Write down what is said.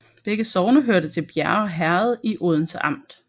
Begge sogne hørte til Bjerge Herred i Odense Amt